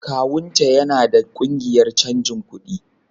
Kawun ta yana da kungiyar canji kuɗi